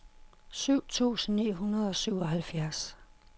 syv tusind ni hundrede og syvoghalvfjerds